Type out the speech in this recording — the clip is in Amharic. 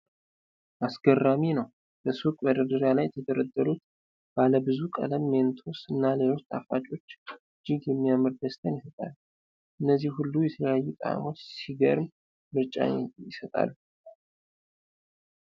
አስገራሚ ነው! በሱቅ መደርደሪያ ላይ የተደረደሩት ባለብዙ ቀለም ሜንቶስ እና ሌሎች ጣፋጮች እጅግ የሚያምር ደስታን ይሰጣሉ። እነዚህ ሁሉ የተለያዩ ጣዕሞች ሲገርም ምርጫን ይሰጣሉ!